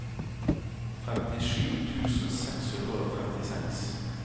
trettisju tusen seks hundre og trettiseks